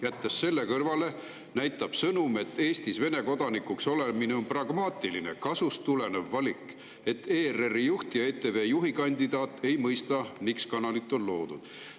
Jättes selle kõrvale, näitab sõnum, et Eestis Vene kodanikuks olemine on pragmaatiline, kasust tulenev valik, et ERR‑i juht ja ETV juhi kandidaat ei mõista, miks kanal on loodud.